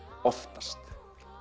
oftast